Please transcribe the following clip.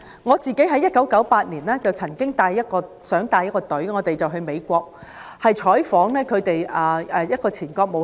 我在1998年曾想帶領一個團隊到美國，就亞洲金融風暴採訪一位前國務卿。